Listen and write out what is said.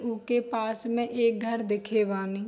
ऊके पास में एक घर दिखे बानी।